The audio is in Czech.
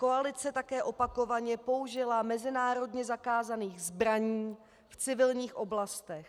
Koalice také opakovaně použila mezinárodně zakázaných zbraní v civilních oblastech.